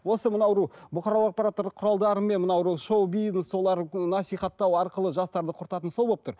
осы мына біреу бұқаралық ақпараттар құралдарымен мына біреу шоу бизнес солар насихаттау арқылы жастарды құртатын сол болып тұр